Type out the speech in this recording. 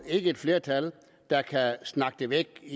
et flertal der kan snakke det væk i